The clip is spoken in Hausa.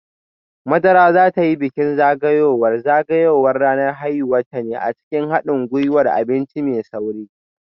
Madara za ta yi bikin zagayowar zagayowar ranar haihuwarta ne a cikin hadin gwiwar abinci mai sauri